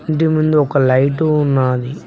ఇంటి ముందు ఒక లైటు ఉన్నాది.